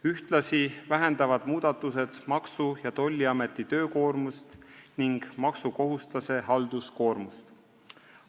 Ühtlasi vähendavad need Maksu- ja Tolliameti töökoormust ning maksukohustuslase halduskoormust.